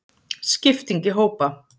Skipting í hópa.